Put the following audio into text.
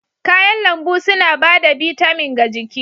Kayan lambu suna ba da bitamin ga jiki